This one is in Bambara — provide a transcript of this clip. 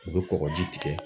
U bɛ kɔkɔji tigɛ.